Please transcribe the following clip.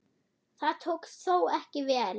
Það tókst þó ekki vel.